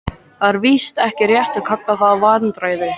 Það er víst ekki rétt að kalla það vandræði.